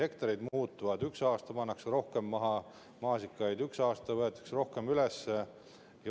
Hektarid muutuvad, üks aasta pannakse rohkem maasikaid maha, teine aasta võetakse rohkem üles.